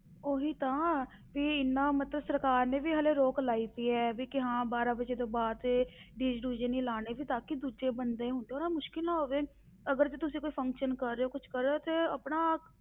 ਉਹੀ ਤਾਂ ਵੀ ਇੰਨਾ ਮਤਲਬ, ਸਰਕਾਰ ਨੇ ਵੀ ਹਾਲੇ ਰੋਕ ਲਾਈ ਪਈ ਹੈ, ਵੀ ਕਿ ਹਾਂ ਬਾਰਾਂ ਵਜੇ ਤੋਂ ਬਾਅਦ ਇਹ DJ ਡੂਜੇ ਨੀ ਲਾਉਣੇ, ਵੀ ਤਾਂ ਕਿ ਦੂਜੇ ਬੰਦੇ ਨੂੰ ਤਾਂ ਨਾ ਮੁਸ਼ਕਲ ਨਾ ਹੋਵੇ, ਅਗਰ ਜੇ ਤੁਸੀਂ ਕੋਈ function ਕਰ ਰਹੇ ਹੋ, ਕੁਛ ਕਰ ਰਹੇ ਹੋ ਤੇ ਆਪਣਾ